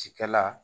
Cikɛla